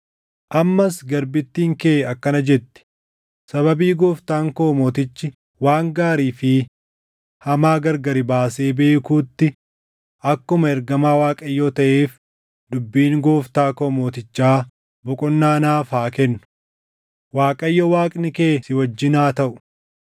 “Ammas garbittiin kee akkana jetti; ‘Sababii gooftaan koo mootichi waan gaarii fi hamaa gargari baasee beekuutti akkuma ergamaa Waaqayyoo taʼeef dubbiin gooftaa koo mootichaa boqonnaa naaf haa kennu. Waaqayyo Waaqni kee si wajjin haa taʼu.’ ”